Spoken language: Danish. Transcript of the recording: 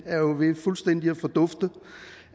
er ved fuldstændig at fordufte